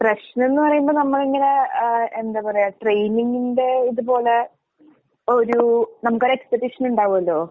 പ്രശ്നംന്ന് പറയുമ്പ നമ്മളിങ്ങനെ ഏഹ് എന്താ പറയാ, ട്രെയിനിങ്ങിന്റെ ഇത് പോലെ ഒരൂ നമുക്കൊരെക്സ്പെക്ടേഷൻ ഇണ്ടാവല്ലോ?